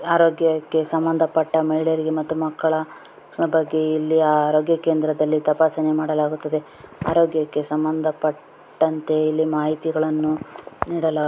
ಅರೋಗ್ಯಕ್ಕೆ ಸಂಬಂಧ ಪಟ್ಟ ಮೇಲೇರಿ ಮತ್ತು ಮಕಲ್ಲ ಇಲ್ಲಿ ಅರೋಗ್ಯ ಕೇಂದ್ರದಲಿ ತಪಸನೆ ಮಡಲಗುತ್ತ ದೆ ಅರೋಗ್ಯಕ್ಕೆ ಸಂಬಂಧ ಪಟ್ಟಂತೆ ಇಲ್ಲಿ ಮಾಹಿತಿ ಯನ್ನು ಇಲ್ಲಿ ನೀಡಲಾ--